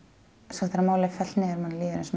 svo þegar málið er fellt niður manni líður eins